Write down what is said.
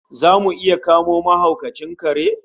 Zamu iya kamo mahaukacin kare?